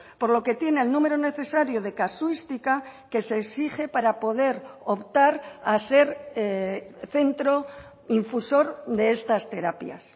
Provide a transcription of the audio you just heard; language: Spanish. por lo que tiene el número necesario de casuística que se exige para poder optar a ser centro infusor de estas terapias